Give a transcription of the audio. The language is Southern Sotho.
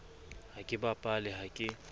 ha ke bapale ha ke